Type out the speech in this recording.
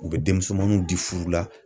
U bɛ denmisɛnamanw di furu la.